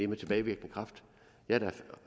med tilbagevirkende kraft jeg